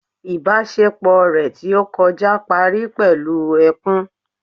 Ìbásepọ̀ rẹ̀ tí ó kọjá parí pẹ̀lú ẹkún